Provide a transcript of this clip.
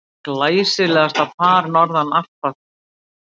Glæsilegasta par norðan Alpa.